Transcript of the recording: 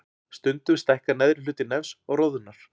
Stundum stækkar neðri hluti nefs og roðnar.